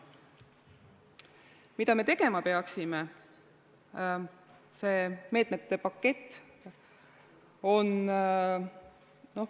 Mida me tegema peaksime?